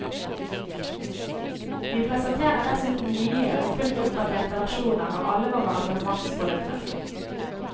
Vi presenterer dessuten nye og fullt oppdaterte versjoner av alle våre abonnementsprodukter.